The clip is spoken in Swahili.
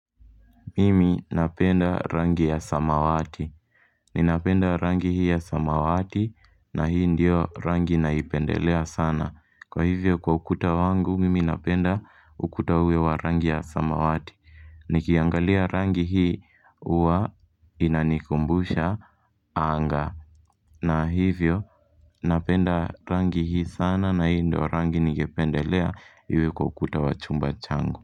Mimi napenda rangi ya samawati. Ninapenda rangi hii ya samawati na hii ndio rangi naipendelea sana. Kwa hivyo kwa ukuta wangu, mimi napenda ukuta uwe wa rangi ya samawati. Nikiangalia rangi hii huwa inanikumbusha anga. Na hivyo napenda rangi hii sana na hii ndio rangi ningependelea iwe kwa ukuta wa chumba changu.